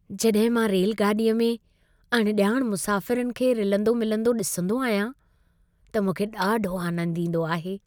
जॾहिं मां रेलगाॾीअ में अणॼाण मुसाफ़िरनि खे रिलंदो मिलंदो ॾिसंदो आहियां, त मूंखे ॾाढो आनंद ईंदो आहे।